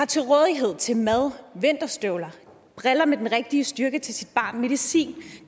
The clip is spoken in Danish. til rådighed til mad vinterstøvler briller med den rigtige styrke til sit barn medicin og